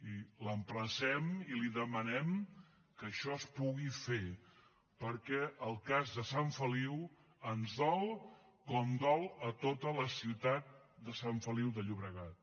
i l’emplacem i li demanem que això es pugui fer perquè el cas de sant feliu ens dol com li dol a tota la ciutat de sant feliu de llobregat